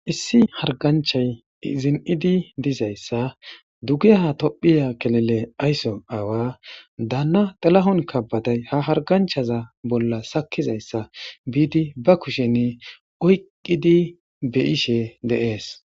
Issi harganchay zin7idi dizayssa duge ha tophiya kelele aysson aawa daanna tilahun keebede ha harganchaza bolla sakkizayssa biidi ba kushenne oyqqidi beyishe deees.